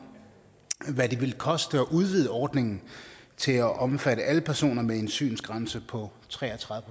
hvad det vil koste at udvide ordningen til at omfatte alle personer med en synsgrænse på tre og tredive